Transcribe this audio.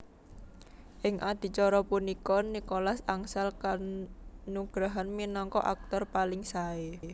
Ing adicara punika Nicholas angsal kanugrahan minangka aktor paling sae